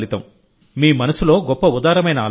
మీ మనస్సులో గొప్ప ఉదారమైన ఆలోచన